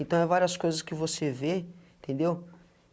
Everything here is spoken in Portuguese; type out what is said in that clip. Então, é várias coisas que você vê, entendeu?